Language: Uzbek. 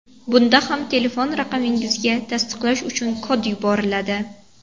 Bunda ham telefon raqamingizga tasdiqlash uchun kod yuboriladi.